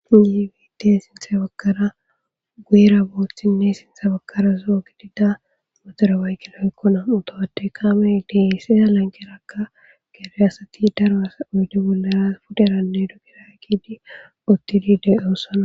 yiwit sinthe bagara guuyera booththinne sinthe bakara zoo gidida motere waykina ekkona utohate kaamey deiseza lankerakka gere asati daroa oyde bollara puderanne dogira kidi ottidi de'oossana